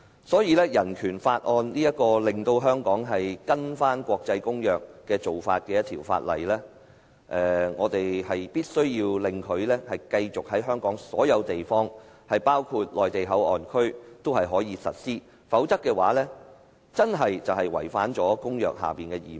《香港人權法案條例》是令香港遵行國際公約的法例，我們必須讓它在香港所有地方，包括內地口岸區也可以實施，否則便會違反公約下的義務。